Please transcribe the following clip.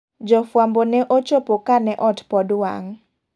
Jofwambo ne ochopo kane ot pod wang'.